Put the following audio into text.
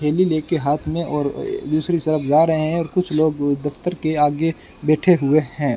थैली लेके हाथ में और ए दूसरी तरफ जा रहे हैं और कुछ लोग दफ्तर के आगे बैठे हुए हैं।